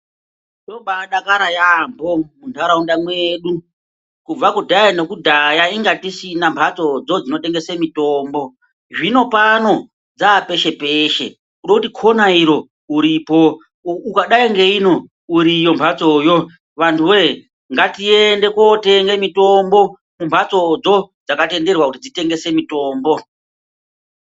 Tinobaadakara yaamho munharaunda mwedu kubva kudhaya nekudhaya inga tisina mhatsodzo dzinotengese mitombo. Zvinopano dzaapeshe eshe kude kuti khona iro uripo ukadayi ngeino uriyo mhatsoyo. Antuwee ngatiende kootenge mitombo kumhatsodzo dzakatenderwa kuti dzitengese mitombo.